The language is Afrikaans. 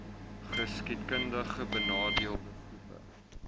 geskiedkundig benadeelde groepe